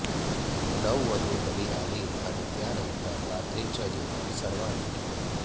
नववधू घरी आली आणि त्यानंतर रात्रीचं जेवन सर्वांनी केलं